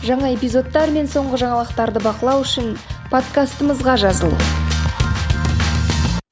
жаңа эпизодтар мен соңғы жаңалықтарды бақылау үшін подкастымызға жазыл